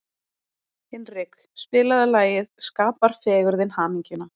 Hinrik, spilaðu lagið „Skapar fegurðin hamingjuna“.